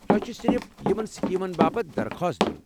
تۄہہ چھ صرف یمن سکیمن باپت درخواست دِیوٗن ۔